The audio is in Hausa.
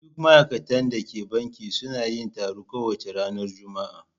Duk ma'aikatan da ke banki suna yin taro kowace ranar Juma'a.